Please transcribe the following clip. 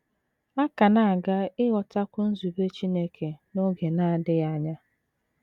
A ka na - aga ịghọtakwu nzube Chineke n’oge na - adịghị anya.